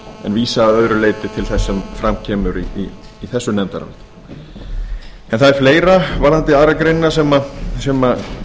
en vísa að öðru leyti til þess sem fram kemur í þessu nefndaráliti en það er fleira varðandi aðra grein sem